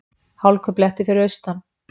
Hálkublettir fyrir austan